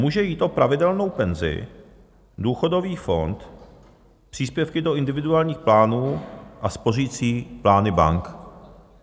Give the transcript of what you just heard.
Může jít o pravidelnou penzi, důchodový fond, příspěvky do individuálních plánů a spořicí plány bank.